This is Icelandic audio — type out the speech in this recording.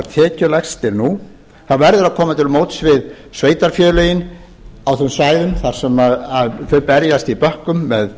tekjulægstir nú það verður að koma til móts við sveitarfélögin á þeim svæðum þar sem þau berjast í bökkum með